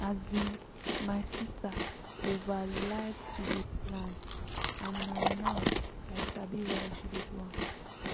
as in my sister over like to dey plan and na now i sabi why she dey do am